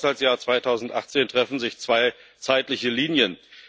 Im Haushaltsjahr 2018 treffen sich zwei zeitliche Linien.